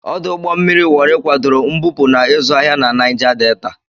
Ọdụ ụgbọ mmiri Wori kwadoro mbupu na ịzụ ahịa na Naija Delta.